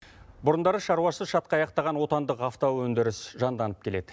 бұрындары шаруасы шатқа аяқтаған отандық автоөндіріс жанданып келед